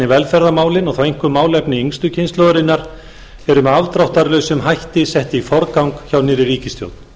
velferðarmálin og þá einkum málefni yngstu kynslóðarinnar eru með afdráttarlausum hætti sett í forgang hjá nýrri ríkisstjórn